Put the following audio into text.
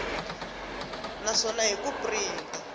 na swona hi ku printa